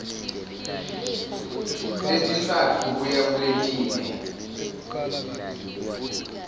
letintsatfu kuya kuletine